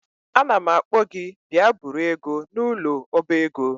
Anam akpo gi bia buru ego a n'ulo oba ego